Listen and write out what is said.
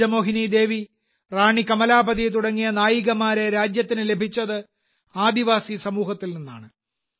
രാജമോഹിനി ദേവി റാണി കമലാപതി തുടങ്ങിയ നായികമാരെ രാജ്യത്തിന് ലഭിച്ചത് ആദിവാസി സമൂഹത്തിൽ നിന്നാണ്